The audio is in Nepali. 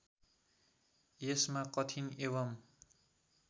यसमा कठिन एवं